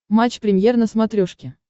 матч премьер на смотрешке